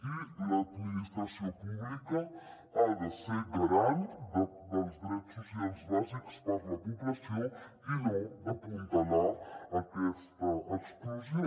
i l’administració pública ha de ser garant dels drets socials bàsics per a la població i no d’apuntalar ne aquesta exclusió